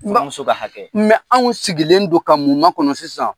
N ba muso ka hakɛ mɛ anw sigilen don ka mun makɔnɔ sisan